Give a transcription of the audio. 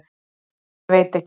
Ég veit ekki.